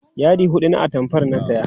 yadi huɗu na atamfar na saya